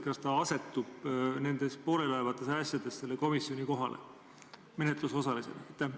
Kas ta asetub pooleliolevates asjades menetlusosalisena selle komisjoni kohale?